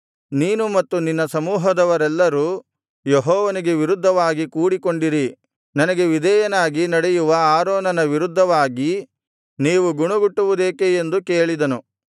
ನೀನು ಮತ್ತು ನಿನ್ನ ಸಮೂಹದವರೆಲ್ಲರು ಯೆಹೋವನಿಗೆ ವಿರುದ್ಧವಾಗಿ ಕೂಡಿಕೊಂಡಿರಿ ನನಗೆ ವಿಧೇಯನಾಗಿ ನಡೆಯುವ ಆರೋನನ ವಿರುದ್ಧವಾಗಿ ನೀವು ಗುಣಗುಟ್ಟುವುದೇಕೆ ಎಂದು ಕೇಳಿದನು